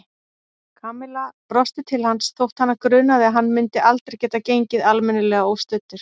Kamilla brosti til hans þótt hana grunaði að hann myndi aldrei geta gengið almennilega óstuddur.